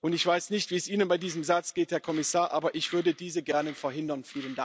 Ich weiß nicht, wie es Ihnen bei diesem Satz geht, Herr Kommissar, aber ich würde dies gerne verhindern.